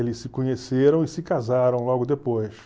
Eles se conheceram e se casaram logo depois.